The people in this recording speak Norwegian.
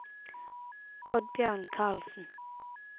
Oddbjørn Karlsen